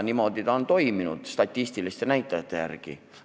Niimoodi on see toimunud statistiliste näitajate järgi.